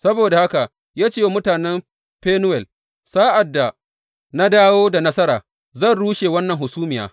Saboda haka sai ya ce wa mutanen Fenuwel, Sa’ad da na dawo da nasara zan rushe wannan hasumiya.